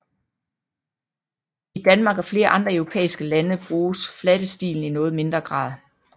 I Danmark og flere andre europæiske lande bruges flatestilen i noget mindre grad